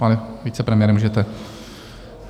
Pane vicepremiére, můžete.